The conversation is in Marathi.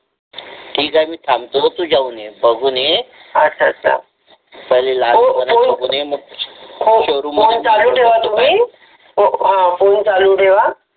ते काय मी थांबतोय तू जाऊन ये बघू नये अच्छा मग शोरूम मध्ये फोन चालू ठेवा.